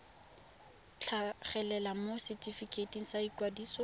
tlhagelela mo setefikeiting sa ikwadiso